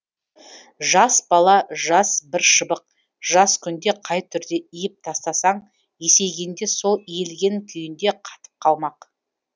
жас бала жас бір шыбық жас күнде қай түрде иіп тастасаң есейгенде сол иілген күйінде қатып қалмақ